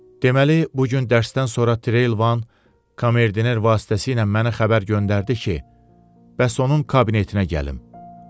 Deməli, bu gün dərsdən sonra Trelivan komerdiner vasitəsilə məni xəbər göndərdi ki, onun kabinetinə gəlim.